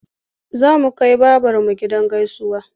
Za mu kai babarmu gidan gaisuwa.